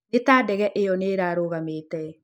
nĩ ta ndege ĩyo nĩ ĩrarũgamĩte